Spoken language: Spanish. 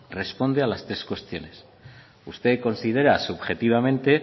responde a las tres cuestiones usted considera subjetivamente